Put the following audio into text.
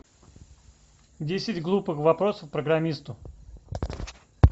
десять глупых вопросов программисту